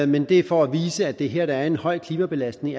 men det er for at vise at der her er en høj klimabelastning